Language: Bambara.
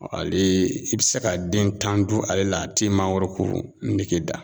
Alee i be se ka den tan dun ale la a t'i mangorokonege da